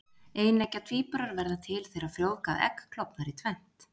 Eineggja tvíburar verða til þegar frjóvgað egg klofnar í tvennt.